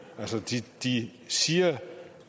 altså de de siger